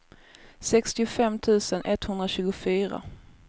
sextiofem tusen etthundratjugofyra